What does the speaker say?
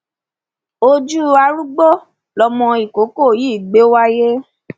ojú arúgbó lọmọ ìkókó yìí gbé wáyé